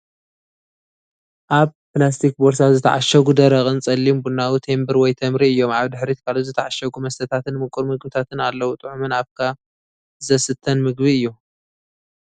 ኣብ ፕላስቲክ ቦርሳ ዝተዓሸጉ ደረቕን ጸሊም ቡናዊ ቴምብር ወይ ተምሪ እዮም። ኣብ ድሕሪት ካልኦት ዝተዓሸጉ መስተታትን ምቁር ምግብታትን ኣለዉ። ጥዑምን ኣፍካ ዘስተን ምግቢ እዩ፡፡